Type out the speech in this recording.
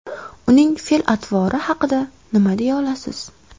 Uning fe’l-atvori haqida nima deya olasiz?